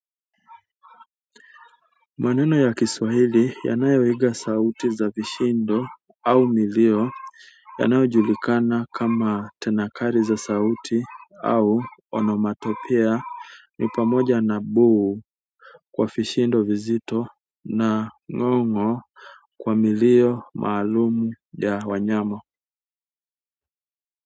Maneno ya kiswahili yanayoiga sauti za vishindo au milio yanayo julikana kama tanakali za sauti au onomatopoea ni pamoja na boom kwa vishindo vizito na ngongo kwa milio maalum ya wanyama.